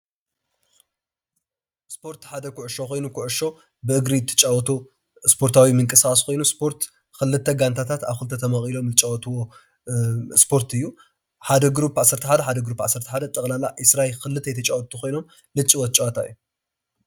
ስፖርት ሓደ ኩዕሾ ኮይኑ ኩዕሾ ብእግሪ ትጫዎቶ ስፖርታዊ ምቅስቃስ ኮይኑ ስፖርት ክልተ ጋንታት ኣብ ክልተ ተመቂሎም ዝጫዎትዎ ስፖርት እዩ። ሓደ ጉሩብ ዓሰርተ ሓደ ሓደ ጉሩብ ዓሰርተ ሓደ ጠቅላላ 22 ክልተይ ተጫወትቲ ኮይኖም ዝጭወት ጨወታ እዩ ።